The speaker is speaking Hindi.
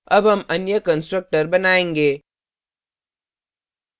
अब हम अन्य constructor बनायेंगे